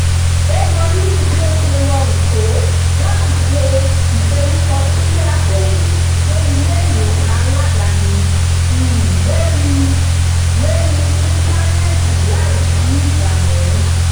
ó mọrírì bí ó ṣe rọrùn tó láti ṣe ìforúkọsílẹ̀ àbẹ̀wò fún ilé-ìwòsàn alá́dàáni um lórí um lórí íńtánẹ́ẹ̀tì láìsí ìdààmú